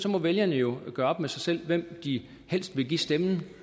må vælgerne jo gøre op med sig selv hvem de helst vil give stemmen